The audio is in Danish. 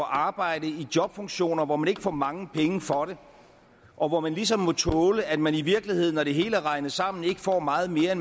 arbejde i jobfunktioner hvor man ikke får mange penge for det og hvor man ligesom må tåle at man i virkeligheden når det hele er regnet sammen ikke får meget mere